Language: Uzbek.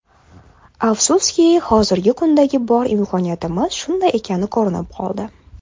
Afsuski, hozirgi kundagi bor imkoniyatimiz shunday ekani ko‘rinib qoldi.